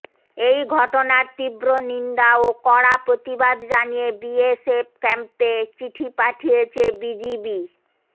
এই ঘটনার তীব্র নিন্দা ও কড়া প্রতিবাদ জানিয়ে বিএসএফ ক্যাম্পে চিঠি পাঠিয়েছে বিজিবি